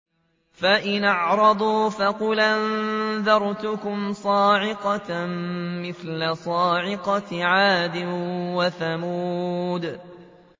فَإِنْ أَعْرَضُوا فَقُلْ أَنذَرْتُكُمْ صَاعِقَةً مِّثْلَ صَاعِقَةِ عَادٍ وَثَمُودَ